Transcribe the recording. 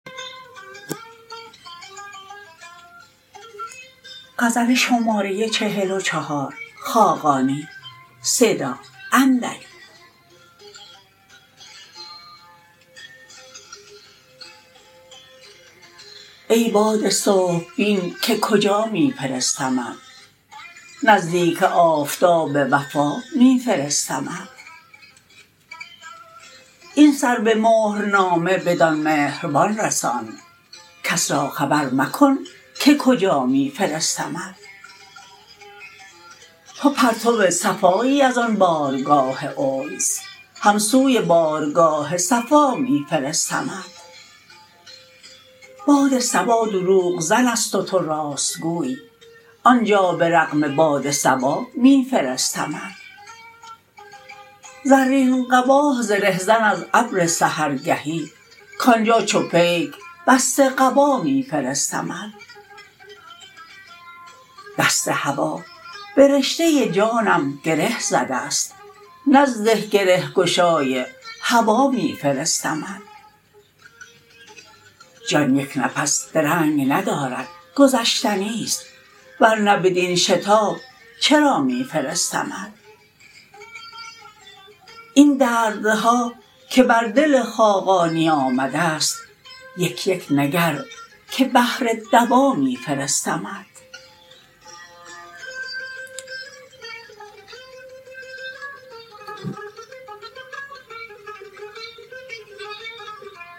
ای باد صبح بین که کجا می فرستمت نزدیک آفتاب وفا می فرستمت این سر-به-مهر-نامه بدان مهربان رسان کس را خبر مکن که کجا می فرستمت تو پرتو صفایی از آن بارگاه انس هم سوی بارگاه صفا می فرستمت باد صبا دروغ زن است و تو راست گوی آنجا به رغم باد صبا می فرستمت زرین قبا زره زن از ابر سحرگهی کآنجا چو پیک بسته قبا می فرستمت دست هوا به رشته جانم گره زده است نزد گره گشای هوا می فرستمت جان یک نفس درنگ ندارد گذشتنی است ور نه بدین شتاب چرا می فرستمت این دردها که بر دل خاقانی آمده است یک یک نگر که بهر دوا می فرستمت